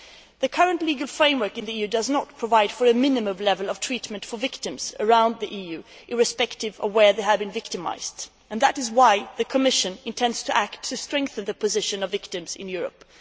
The current legal framework in the EU does not provide for a minimum level of treatment for victims throughout the EU irrespective of where they have been victimised, and that is why the Commission intends to act to strengthen the position of victims in Europe.